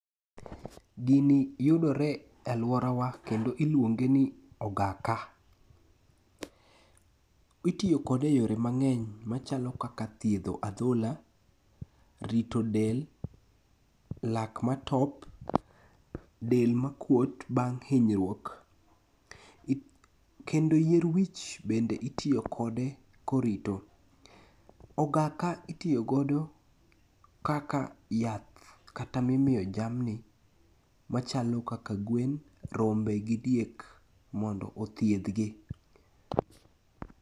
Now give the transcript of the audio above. Gini yudore e alworawa kendo iluonge ni ogaka. Itiyo kode e yore mang'eny machalo kaka thiedho adhola, rito del, lak matop, del makuot bang' hinyruok, kendo yier wich bende itiyo kode korito. Ogaka itiyogodo kaka yath kata mimiyo jamni machalo kaka gwen, rombe gi diek mondo othiedhgi.